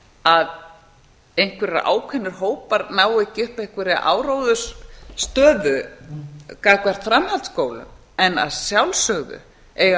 að einhverjir ákveðnir hópar nái ekki upp einhverri áróðursstöðu gagnvart framhaldsskólum en að sjálfsögðu eiga